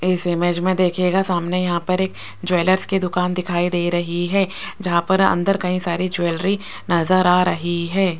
इस इमेज में देखिएगा सामने यहां पर एक ज्वेलर्स की दुकान दिखाई दे रही है जहां पर अंदर कई सारी ज्वेलरी नजर आ रही है।